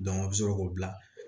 a bɛ sɔrɔ k'o bila